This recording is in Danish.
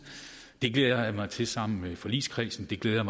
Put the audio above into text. det glæder jeg mig til sammen med forligskredsen det glæder